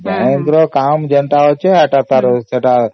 bank ଯାହା କାମ ଅଛି ଏଇଟା ତାର